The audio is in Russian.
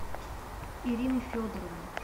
ирины федоровны